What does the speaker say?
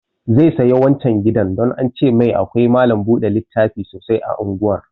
Zai saya wancan gidan don an ce mai akwai malam buɗe littafi sosai a unguwar